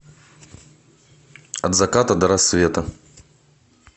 от заката до рассвета